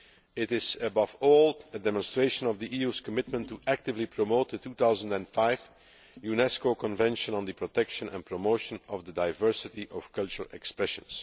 It is, above all, a demonstration of the EU's commitment to actively promoting the 2005 UNESCO Convention on the Protection and Promotion of the Diversity of Cultural Expression.